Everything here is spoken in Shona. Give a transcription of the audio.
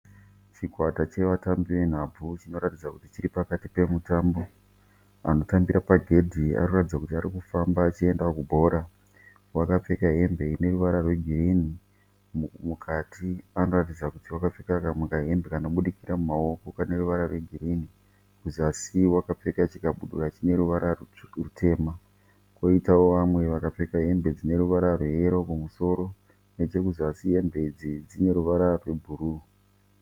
Chikwata chevatambi venhabvu chinoratidza kuti chiripakati pemumbo, anotambira pagedhi anoratidza kuti arikufamba achienda kubhora. Wakapfeka hembe ineruvara rwegirini, mukati anoratidza kuti wakapfeka kamwe kahembe kanobudikira mahoko kaneruvara rwegirini. Kuzasi wakapfeka chikabudura chineruvara rutema koitawo vamwe vakapfeka hembe dzineruvara rweyero kumusoro kuzasi hembe idzi dzineruvara rwebhuru.